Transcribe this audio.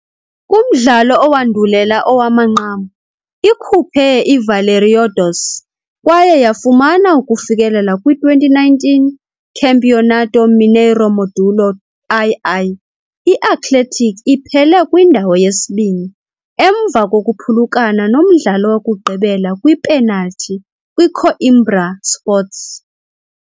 Kumdlalo owandulela owamanqam, ikhuphe i-Valeriodoce, kwaye yafumana ukufikelela kwi-2019 Campeonato Mineiro Módulo II. I-Athletic iphele kwindawo yesibini, emva kokuphulukana nomdlalo wokugqibela kwiipenalthi kwiCoimbra Sports.